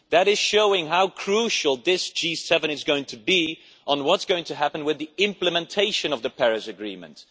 That shows how crucial this G7 will be on what is going to happen with the implementation of the Paris Agreement.